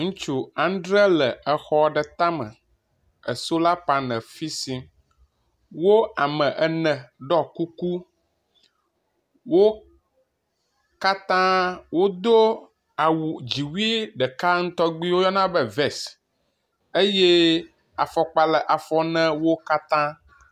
Ŋutsu andre le exɔ ɖe tame e sola panel fisim. Wo ame ene ɖɔ kuku. Wo katã wodo awu dziwui ɖeka tɔgbi woyɔna be vesi eye afɔkpa le afɔ n wo katã.